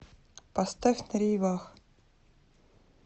поставь на рейвах